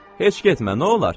Heç getmə, nə olar?